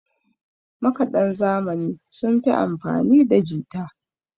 makadan zamani sun fi amfanida jita